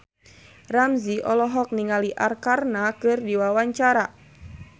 Ramzy olohok ningali Arkarna keur diwawancara